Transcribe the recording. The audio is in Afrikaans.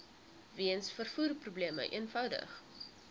weens vervoerprobleme eenvoudig